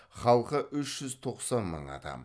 халқы үш жүз тоқсан мың адам